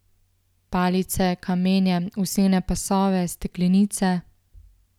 Palice, kamenje, usnjene pasove, steklenice...